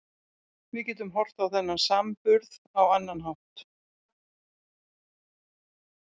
Við getum horft á þennan samburð á annan hátt.